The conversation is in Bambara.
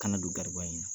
Kana don garibuya in na